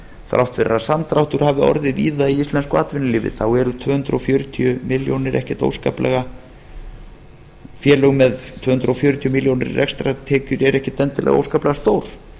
þrátt fyrir að samdráttur hafi orðið víða í íslensku atvinnulífi eru félög með tvö hundruð fjörutíu milljónir í rekstrartekjur ekkert endilega óskaplega stór